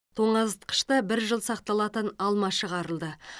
тоңазытқышта бір жыл сақталатын алма шығарылды